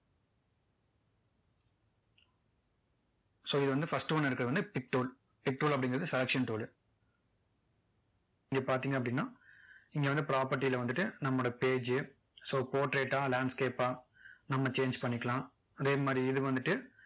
so இது வந்து first one ல இருக்கிறது வந்து pic tool pic tool அப்படிங்கிறது selection tool லு இங்க பார்த்தீங்க அப்படின்னா இங்க வந்து property ல வந்துட்டு நம்மளோட page so portrait டா landscape பா நம்ம change பண்ணிக்கலாம்